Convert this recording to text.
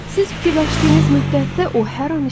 Siz fikirləşdiyiniz müddətdə o hər an işləyir.